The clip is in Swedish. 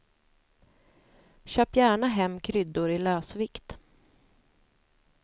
Köp gärna hem kryddor i lösvikt.